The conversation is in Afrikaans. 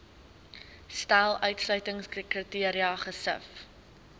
stel uitsluitingskriteria gesif